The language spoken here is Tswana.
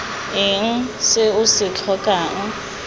eng se o se tlhokang